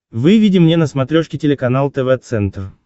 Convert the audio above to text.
выведи мне на смотрешке телеканал тв центр